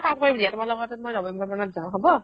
এটা কাম কৰিম দিয়া তোমালোকৰ তাত মই november মানত যাও হ'ব